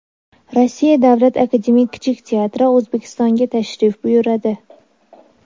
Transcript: Rossiya Davlat akademik kichik teatri O‘zbekistonga tashrif buyuradi.